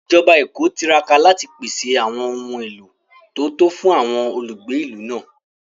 Ìjọba Èkó tiraka láti pèsè àwọn ohun èlò tó tó fún àwọn olùgbé ìlú náà